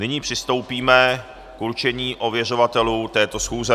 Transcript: Nyní přistoupíme k určení ověřovatelů této schůze.